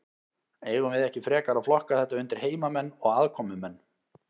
Eigum við ekki frekar að flokka þetta undir heimamenn og aðkomumenn?